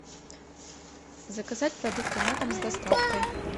заказать продукты на дом с доставкой